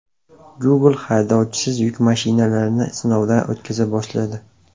Google haydovchisiz yuk mashinalarini sinovdan o‘tkaza boshladi.